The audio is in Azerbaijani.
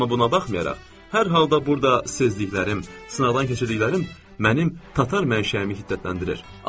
Amma buna baxmayaraq, hər halda burda sezliklərim, sınaqdan keçirdiklərim mənim tatar mənşəyimi hiddətləndirir.